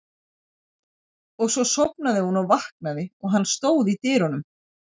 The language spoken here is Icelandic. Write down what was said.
Og svo sofnaði hún og vaknaði og hann stóð í dyrunum.